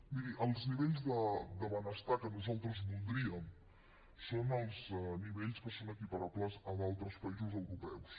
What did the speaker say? miri els nivells de benestar que nosaltres voldríem són els nivells que són equiparables a d’altres països europeus